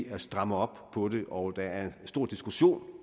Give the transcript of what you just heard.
at stramme op på det og der er stor diskussion